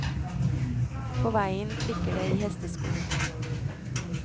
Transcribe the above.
På veien klikker det i hestesko.